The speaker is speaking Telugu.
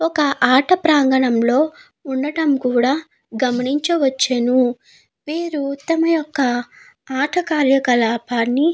ఒక ఆట ప్రాంగణం లో ఉండడం కూడా గమనించవచ్చును. వీరుబతమ యొక్క ఆట కార్య కళాపాన్ని.